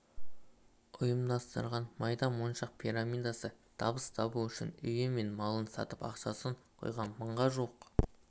ұйымдастырған майда моншақ пирамидасы табыс табу үшін үйі мен малын сатып ақшасын құйған мыңға жуық